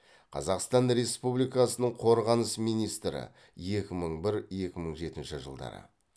қазақстан республикасының қорғаныс министрі екі мың бір екі мың жетінші жылдары